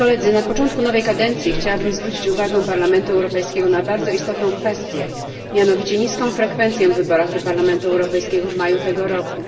Na początku nowej kadencji chciałabym zwrócić uwagę Parlamentu Europejskiego na bardzo istotną kwestię, mianowicie niską frekwencję w wyborach do Parlamentu Europejskiego w maju tego roku.